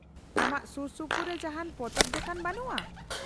-ᱟᱢᱟᱜ ᱥᱩᱨᱥᱩᱯᱩᱨ ᱨᱮ ᱡᱟᱦᱟᱱ ᱯᱚᱛᱚᱵ ᱫᱚᱠᱟᱱ ᱵᱟᱹᱱᱩᱜᱼᱟ ?